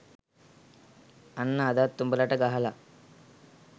අන්න අදත් උඹලට ගහලා.